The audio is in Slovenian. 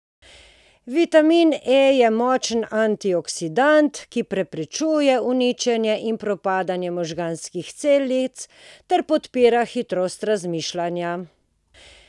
Vitamin E je močan antioksidant, ki preprečuje uničenje in propadanje možganskih celic ter podpira hitrost razmišljanja.